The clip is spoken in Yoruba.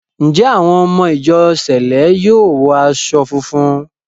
Ǹjẹ́ àwọn ọmọ ìjọ sẹ̀lẹ́ yóò wọ aṣọ funfun?